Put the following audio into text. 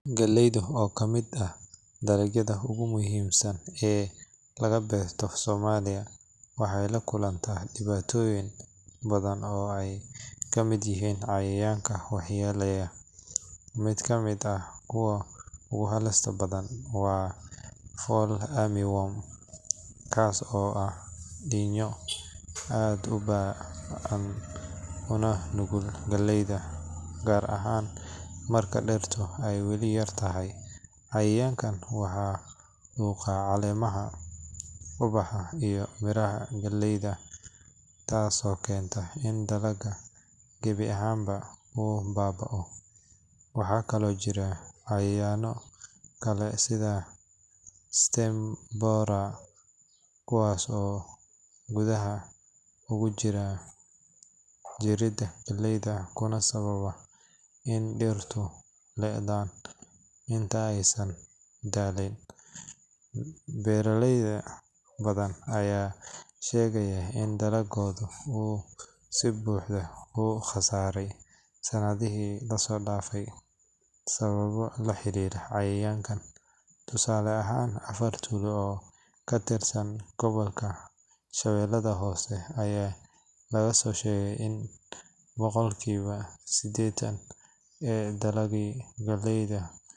Galleyda, oo ka mid ah dalagyada ugu muhiimsan ee laga beerto Soomaaliya, waxay la kulantaa dhibaatooyin badan oo ay ka mid yihiin cayayaanka waxyeelleeya. Mid ka mid ah kuwa ugu halista badan waa Fall Armyworm, kaas oo ah diinyo aad u ba’an una nugul galleyda, gaar ahaan marka dhirta ay weli yar tahay. Cayayaankan wuxuu quudaa caleemaha, ubaxa iyo miraha galleyda, taasoo keenta in dalagga gebi ahaanba uu baaba’o. Waxaa kaloo jira cayayaanno kale sida stem borers, kuwaas oo gudaha ugu jira jirida galleyda kuna sababa in dhirtu le’daan inta aysan dhalin. Beeraley badan ayaa sheegaya in dalagoodii uu si buuxda u khasaaray sanadihii la soo dhaafay sababo la xiriira cayayaankan. Tusaale ahaan, afar tuulo oo ka tirsan gobolka Shabeellaha Hoose ayaa laga soo sheegay in boqolkiiba sideetan ee dalaggii galleyda.